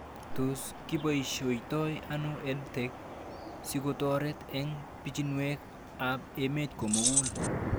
Tos kiposhoitoi ano EdTech sikotoret eng' pichinwek ab emet komugul